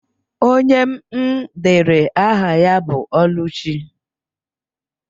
Onye m dere aha ya bụ Ọlụchi.